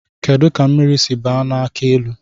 Kedụ ka mmiri si baa n'akị elu?